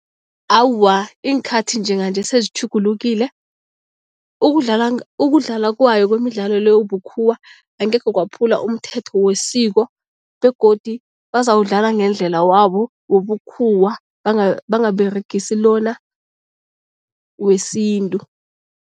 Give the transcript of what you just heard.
Awa, iinkhathi njenganje sezitjhugulukile. Ukudlala ukudlala kwayo kwemidlalo le bukhuwa angekhe kwaphula umthetho wesiko begodu bazawudlala ngendlela wabo wobukhuwa, bangaberegisi lona wesintu.